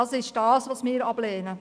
Dies ist es, was wir ablehnen.